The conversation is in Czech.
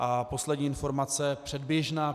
A poslední informace, předběžná.